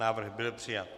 Návrh byl přijat.